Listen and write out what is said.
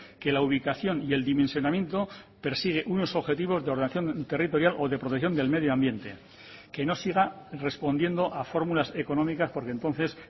que la ubicación y el dimensionamiento persigue unos objetivos de ordenación territorial o de protección del medio ambiente que no siga respondiendo a fórmulas económicas porque entonces